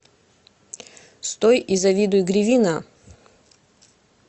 стой и завидуй гривина